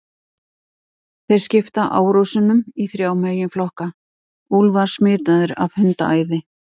Þeir skipta árásunum í þrjá meginflokka: Úlfar smitaðir af hundaæði.